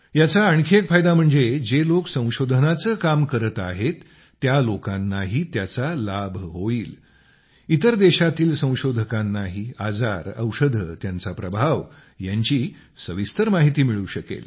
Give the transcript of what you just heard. याचा आणखी एक फायदा म्हणजे जे लोक संशोधनाचं काम करत आहेत त्या लोकांनाही होईल इतर देशांतील संशोधकांनाही आजार औषधे त्यांचा प्रभाव यांची सविस्तर माहिती मिळू शकेल